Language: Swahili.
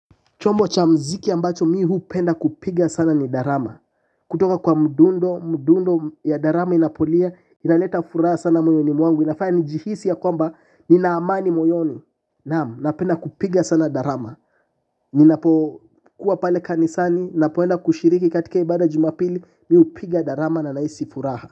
Chombo cha mziki ambacho mihu penda kupiga sana ni darama. Kutoka kwa mduundo, mduundo ya darama inapolia, inaleta furaha sana moyoni mwangu, inafaya nijihisi ya kwamba, ninaamani moyoni. Naam, napenda kupiga sana darama. Ninapo kuwa pale kanisani, napoenda kushiriki katika ibada jumapili, miupiga darama na naisi furaha.